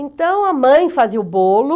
Então a mãe fazia o bolo.